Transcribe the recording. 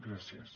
gràcies